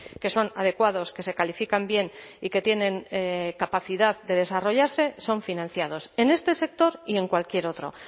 que son adecuados que se califican bien y que tienen capacidad de desarrollarse son financiados en este sector y en cualquier otro